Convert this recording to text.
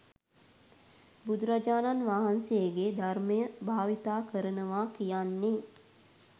බුදුරජාණන් වහන්සේගේ ධර්මය භාවිතා කරනවා කියන්නේ